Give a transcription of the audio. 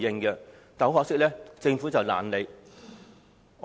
很可惜，政府懶理。